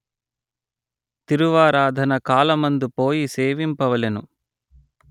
తిరువారాధన కాలమందు పోయి సేవింపవలెను